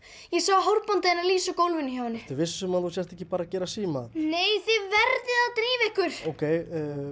ég sá hárbandið hennar Lísu á gólfinu hjá henni ertu viss um að þú sért ekki bara að gera nei þið verðið að drífa ykkur ókei